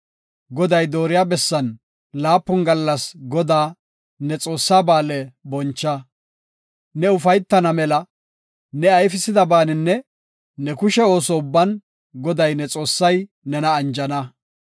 Goday dooriya bessan laapun gallas Godaa, ne Xoossaa, Ba7aale boncha. Ne ufaytana mela ne ayfisidabaninne ne kushe ooso ubban Goday, ne Xoossay nena anjana.